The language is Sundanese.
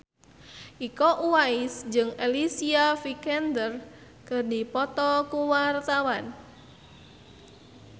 Iko Uwais jeung Alicia Vikander keur dipoto ku wartawan